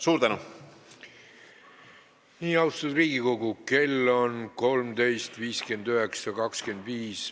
Nii, austatud Riigikogu, kell on 13.59.25.